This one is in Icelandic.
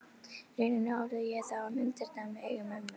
rauninni horfði ég þá á myndirnar með augum mömmu.